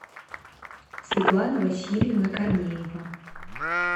светлана васильевна корнеева